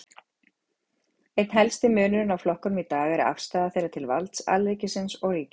Einn helsti munurinn á flokkunum í dag er afstaða þeirra til valds alríkisins og ríkjanna.